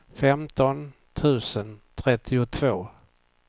femton tusen trettiotvå